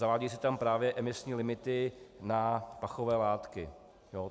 Zavádějí se tam právě emisní limity na pachové látky.